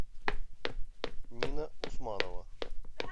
нина усманова